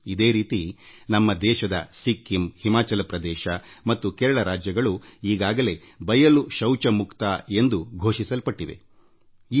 ಈಗಾಗಲೇ ಸಿಕ್ಕಿಂ ಹಿಮಾಚಲ ಪ್ರದೇಶ ಮತ್ತು ಕೇರಳ ರಾಜ್ಯಗಳು ಬಯಲು ಶೌಚಮುಕ್ತ ರಾಜ್ಯ ಎಂದು ಘೋಷಿಸಿಕೊಂಡಿವೆ ಎಂಬುದು ನಿಮಗೂ ತಿಳಿದಿದೆ